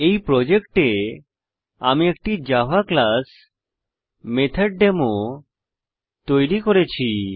এই প্রজেক্টে আমি একটি জাভা ক্লাস মেথডেমো তৈরী করেছি